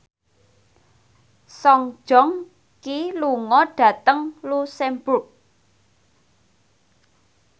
Song Joong Ki lunga dhateng luxemburg